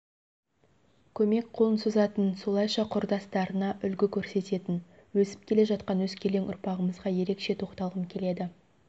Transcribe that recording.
көмек қолын созатын солайша құрдастарына үлгі көрсететін өсіп келе жатқан өскелең ұрпағымызға ерекше тоқталғым келеді